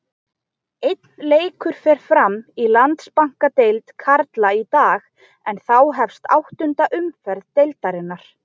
Einn leikur fer fram í Landsbankadeild karla í dag en þá hefst áttunda umferð deildarinnar.